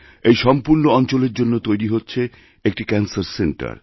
এই সম্পূর্ণঅঞ্চলের জন্য তৈরি হচ্ছে একটি ক্যানসার সেন্টার